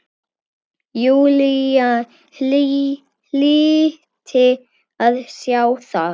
Júlía hlyti að sjá það.